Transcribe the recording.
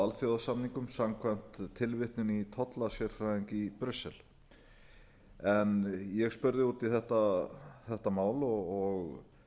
alþjóðasamningum samkvæmt tilvitnun í tollasérfræðing í brussel ég spurði út í þetta mál og